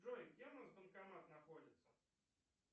джой где у нас банкомат находится